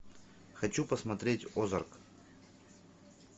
хочу посмотреть озарк